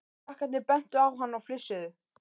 Krakkarnir bentu á hann og flissuðu.